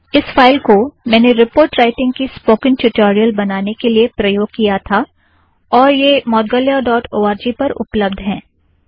इस फ़ाइल को मैंने रीपोर्ट राइटींग की स्पोकन ट्यूटोरियल बनाने के लिए प्रयोग किया था और यह Moudgalya dot O R G पर उपलब्द है